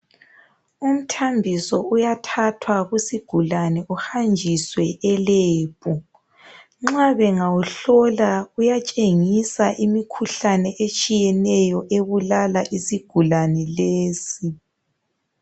Umthambiso uyathathwa kusigulani uhanjiswe elebhu nxa bengawuhlula uyatshengisa imikhuhlane etshiyeneyo ebulala isigulani lesi.